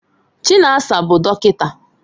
Chinaza bụ dọkịta